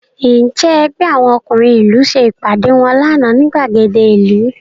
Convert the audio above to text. Ǹjẹ́ ẹgbẹ́ àwọn ọkùnrin ìlú ṣe ìpàdé wọn lánàá ní ìgbàgede ìlú?